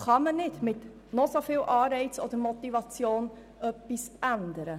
Bei diesen kann man mit noch so viel Anreiz oder Motivation nichts ändern.